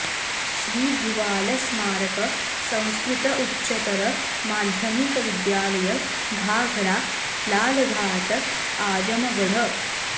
श्री भुवाल स्मारक संस्कृत उच्चतर माध्यमिक विद्यालय घाघरा लालघाट आजमगढ़